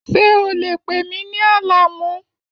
Ṣé o lè pè mí ní Alamu?